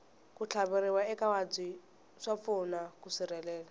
ku tlhaveriwa eka mavabyi swa pfuna ku sirhelela